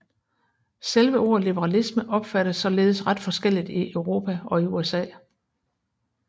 Selve ordet liberalisme opfattes således ret forskelligt i Europa og i USA